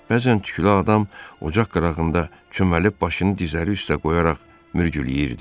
Bəzən tüklü adam ocaq qırağında çöməlib başını dizləri üstə qoyaraq mürgüləyirdi.